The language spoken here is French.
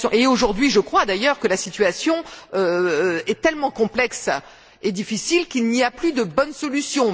Aujourd'hui, je crois d'ailleurs que la situation est tellement complexe et difficile qu'il n'y a plus de bonne solution.